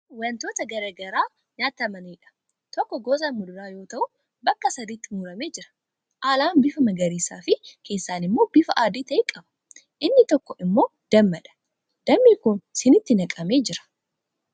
Kun wantoota garaa garaa nyaatamaniidha. Tokko gosa muduraa yoo ta'u bakka sadiitti muramee jira. Alaan bifa magariisaafi keessaan immoo bifa adii ta'e qaba. Inni tokko immoo dammadha. Dammi kun siniitti naqamee jira.